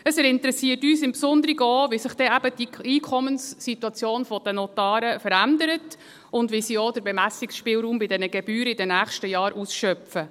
– Es interessiert uns im Besonderen auch, wie sich die Einkommenssituation der Notare verändert und wie sie in den nächsten Jahren auch den Bemessungsspielraum bei den Gebühren ausschöpfen.